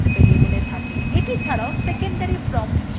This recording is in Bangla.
এটি ছাড়াও secondary prompt stringও আছে